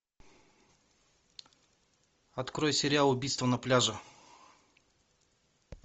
открой сериал убийство на пляже